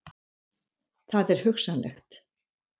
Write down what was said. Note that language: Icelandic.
Það er hugsanlegt.